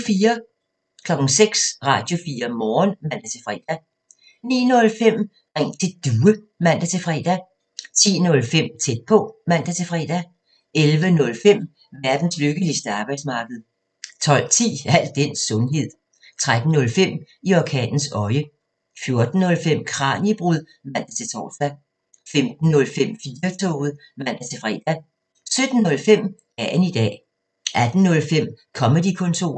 06:00: Radio4 Morgen (man-fre) 09:05: Ring til Due (man-fre) 10:05: Tæt på (man-fre) 11:05: Verdens lykkeligste arbejdsmarked 12:10: Al den sundhed 13:05: I orkanens øje 14:05: Kraniebrud (man-tor) 15:05: 4-toget (man-fre) 17:05: Dagen i dag 18:05: Comedy-kontoret